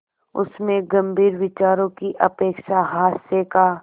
उसमें गंभीर विचारों की अपेक्षा हास्य का